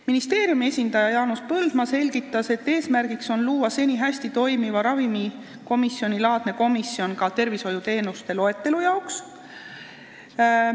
Ministeeriumi esindaja Jaanus Põldmaa selgitas, et eesmärgiks on luua seni hästi toiminud ravimikomisjonilaadne komisjon ka tervishoiuteenuste loetelu jaoks.